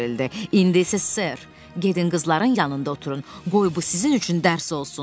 İndi isə sör, gedin qızların yanında oturun, qoy bu sizin üçün dərs olsun.